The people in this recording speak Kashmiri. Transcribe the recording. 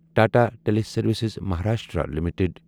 Tata teleservices Maharashtra limited